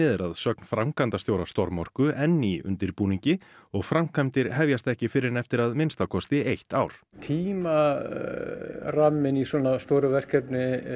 er að sögn framkvæmdastjóra storm orku enn í undirbúningi og framkvæmdir hefjast ekki fyrr en eftir að minnsta kosti eitt ár tímaramminn í svona stóru verkefni